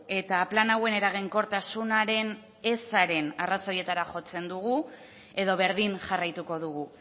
eta plan hauen eraginkortasunaren ezaren arrazoietara jotzen dugu edo berdin jarraituko dugu